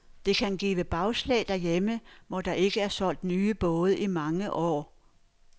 Det kan give bagslag herhjemme, hvor der ikke er solgt nye både i mange år.